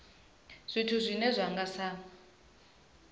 zwithu zwine zwa nga sa